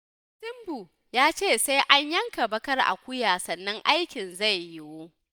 Ɗan tsibbun ya ce sai an yanka baƙar akuya sannan aikin zai yiwu.